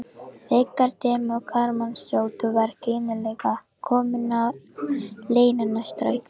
Þegar dimm karlmannsrödd var skyndilega komin á línuna strauk